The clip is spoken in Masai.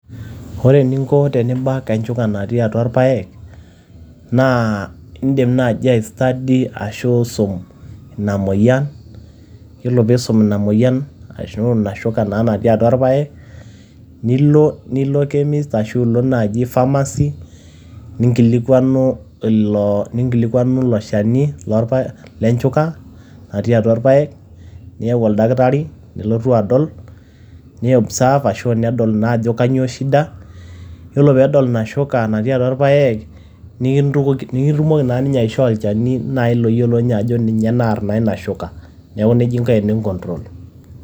Ore eninko tenibak enchuka natii atua ilpaek naa idim naaji ai study ashu isum ina moyian. Yiolo pee isum ina moyian ashu ina shuka naa natii atua ilpaek, nilo nilo chemist ashu ilo naaji pharmacy ninkilikuanu ilo, ninkilikuanu ilo shani le nchuka natii atua ilpaek. Niyau oldakitari nelotu aadol, ni observe ashu nedol naa ajo kainyio shida. Yiolo pee edol ina shuka natii atua irpaek nikitum, nikitumoki naa ninye aishoo olchani naaji loyiolo ninye ajo ninye naar naa ina shuka. Niaku neijia inko teni control.